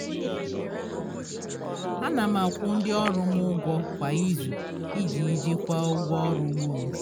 ana m akwụ ndị ọrụ m ụgwọ kwa izu iji jikwaa ụgwọ ọrụ ugbo m